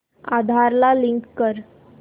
आधार ला लिंक कर